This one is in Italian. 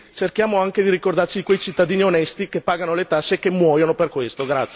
Quindi, cerchiamo anche di ricordarci di quei cittadini onesti che pagano le tasse e che muoiono per questo.